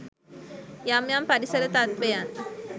යම් යම් පරිසර තත්වයන්